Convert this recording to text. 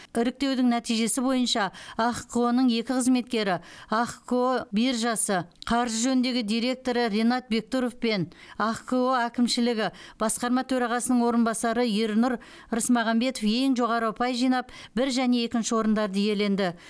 іріктеудің нәтижесі бойынша ахқо ның екі қызметкері ахқо биржасы қаржы жөніндегі директоры ренат бектұров пен ахқо әкімшілігі басқарма төрағасының орынбасары ернұр рысмағамбетов ең жоғары ұпай жинап бір және екінші орындарды иеленді